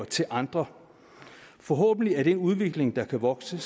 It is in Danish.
til andre forhåbentlig er det en udvikling der kan vokse